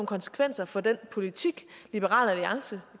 konsekvenser for den politik liberal alliance